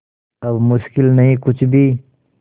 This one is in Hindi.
अब मुश्किल नहीं कुछ भी